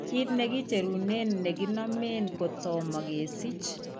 Kiit nekicherunen nekinomen kotoma kesich